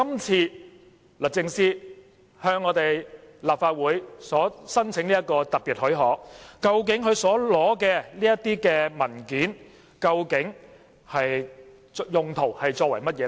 至於律政司這次向立法會申請的特別許可，究竟須取得的文件用途何在？